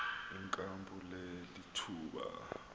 inkampu le lithuba